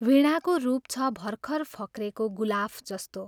वीणाको रूप छ भर्खर फक्रेको गुलाफ जस्तो।